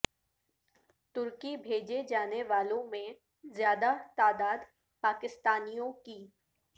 ترکی بھیجے جانے والوں میں زیادہ تعداد پاکستانیوں کی